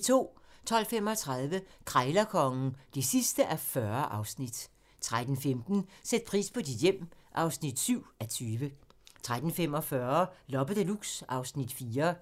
12:35: Krejlerkongen (40:40) 13:15: Sæt pris på dit hjem (7:20) 13:45: Loppe Deluxe (Afs. 4)